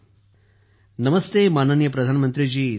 सुखबीर जीः नमस्ते माननीय प्रधानमंत्री जी